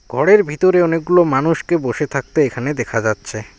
ঘরের ভিতরে অনেকগুলো মানুষকে বসে থাকতে এখানে দেখা যাচ্ছে।